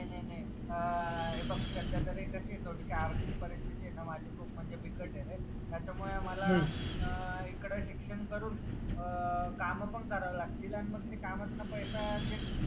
नही नही अह हे बघ सध्यातरी कशीये थोडीशी आर्थिक परिस्थितीये ना माझी खूप म्हणजे बिकट आहे रे त्याच्यामुळे मला अह इकड शिक्षण करून अह कामं पण करावे लागतील अन मग ते कामातन पैसा जे